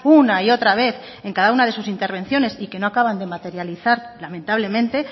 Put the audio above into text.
una y otra vez en cada una de sus intervenciones y que no acaban de materializar lamentablemente